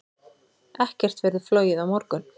Ekkert verður flogið á morgun.